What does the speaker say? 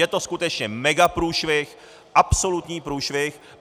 Je to skutečně megaprůšvih, absolutní průšvih.